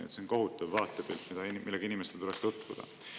See on kohutav vaatepilt, millega inimestel tuleks tutvuda.